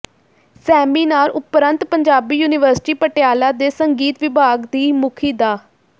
seminar ਉਪਰੰਤ Punjabi university Patiala ਦੇ ਸੰਗੀਤ ਵਿਭਾਗ ਦੀ ਮੁਖੀ ਡਾ